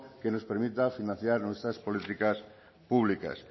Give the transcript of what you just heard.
que nos permita financiar nuestras políticas públicas